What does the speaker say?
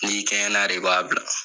Ni kɛɲɛna de i b'a bila.